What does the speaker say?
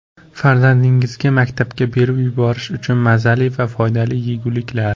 Farzandingizga maktabga berib yuborish uchun mazali va foydali yeguliklar.